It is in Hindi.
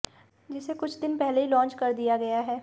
जिसे कुछ दिन पहले ही लॉन्च कर दिया गया है